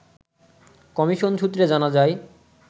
commission সূত্রে জানা যায়